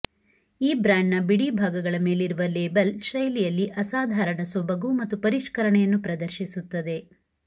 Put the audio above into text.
ಈ ಬ್ರಾಂಡ್ನ ಬಿಡಿಭಾಗಗಳ ಮೇಲಿರುವ ಲೇಬಲ್ ಶೈಲಿಯಲ್ಲಿ ಅಸಾಧಾರಣ ಸೊಬಗು ಮತ್ತು ಪರಿಷ್ಕರಣೆಯನ್ನು ಪ್ರದರ್ಶಿಸುತ್ತದೆ